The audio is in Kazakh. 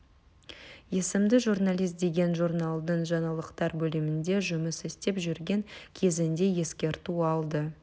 есімді журналист деген журналдың жаңалықтар бөлімінде жұмыс істеп жүрген кезінде ескерту алды